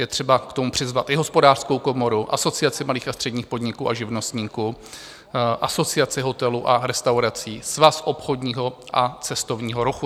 Je třeba k tomu přizvat i Hospodářskou komoru, Asociaci malých a středních podniků a živnostníků, Asociaci hotelů a restaurací, Svaz obchodního a cestovního ruchu.